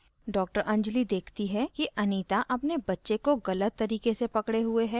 डॉ anjali देखती है कि anita अपने बच्चे को गलत तरीके से पकडे हुए है